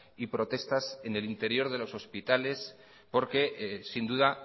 y protestas en el interior de los hospitales porque sin duda